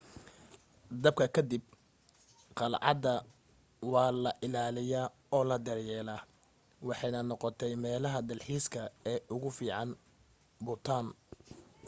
dabka ka dib qalcadda waa la ilaaliyay oo la daryeelay waxaanay noqotay meelaha dalxiiska ee ugu fiican bhutan